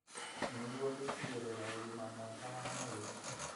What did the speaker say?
nĩguo gũtigĩrĩra ũgima mwega wa mwĩrĩ .